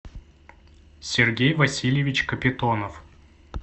сергей васильевич капитонов